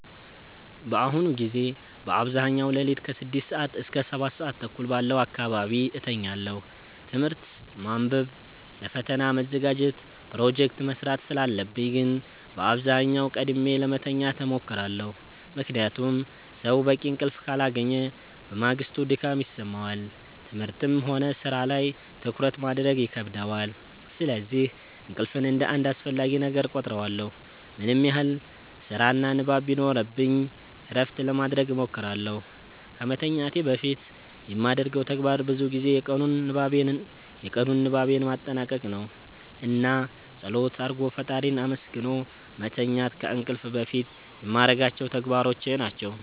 በአሁኑ ጊዜ በአብዛኛው ሌሊት ከ6 ሰዓት እስከ 7:30 ባለው አካባቢ እተኛለሁ። ትምህርት ማንበብ ለፈተና መዘጋጀት ፕሮጀክት መስራት ስላለብኝ ግን በአብዛኛው ቀድሜ ለመተኛት እሞክራለሁ። ምክንያቱም ሰው በቂ እንቅልፍ ካላገኘ በማግስቱ ድካም ይሰማዋል፣ ትምህርትም ሆነ ሥራ ላይ ትኩረት ማድረግ ይከብደዋል። ስለዚህ እንቅልፍን እንደ አንድ አስፈላጊ ነገር እቆጥረዋለሁ። ምንም ያህል ስራና ንባብ ቢኖርብኝ እረፍት ለማረግ እሞክራለሁ። ከመተኛቴ በፊት የማደርገው ተግባር ብዙ ጊዜ የቀኑን ንባቤን ማጠናቀቅ ነው። እና ፀሎት አርጎ ፈጣሪን አመስግኖ መተኛት ከእንቅልፍ በፊት የማረጋቸው ተግባሮች ናቸው።